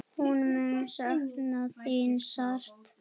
Hún mun sakna þín sárt.